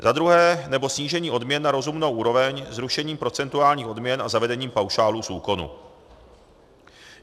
Za druhé - nebo snížení odměn na rozumnou úroveň zrušením procentuálních odměn a zavedením paušálů z úkonu.